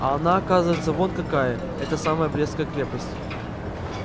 а она оказывается вон какая эта самая брестская крепость